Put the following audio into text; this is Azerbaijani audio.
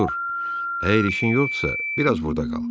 Artur, əgər işin yoxdursa, biraz burda qal.